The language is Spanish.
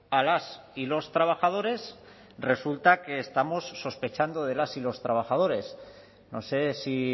a las y los trabajadores resulta que estamos sospechando de las y los trabajadores no sé si